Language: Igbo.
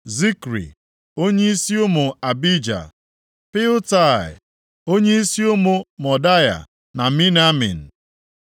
Zikri, onyeisi ụmụ Abija; Piltai, onyeisi ụmụ Modaya na Miniamin